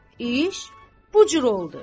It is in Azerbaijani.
İş bu cür oldu.